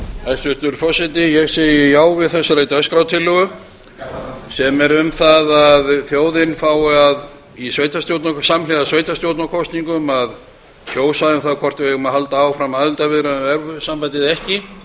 hæstvirtur forseti ég segi já við þessari dagskrártillögu sem er um það að þjóðin fái samhliða sveitarstjórnarkosningum að kjósa um það hvort við eigum að halda áfram aðildarviðræðum við evrópusambandið eða ekki